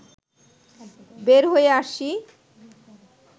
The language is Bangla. বের হয়ে আসি